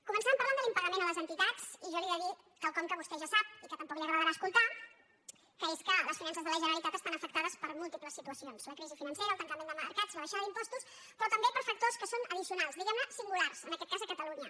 començàvem parlant de l’impagament a les entitats i jo li he de dir quelcom que vostè ja sap i que tampoc no li agradarà escoltar que és que les finances de la generalitat estan afectades per múltiples situacions la crisi financera el tancament de mercats la baixada d’impostos però també per factors que són addicio·nals diguem·ne singulars en aquest cas a catalunya